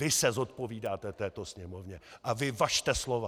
Vy se zodpovídáte této Sněmovně a vy važte slova!